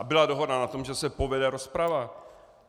A byla dohoda na tom, že se povede rozprava.